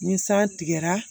Ni san tigɛra